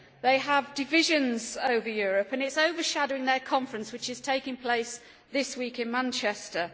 They have divisions over Europe and it is overshadowing their conference which is taking place this week in Manchester.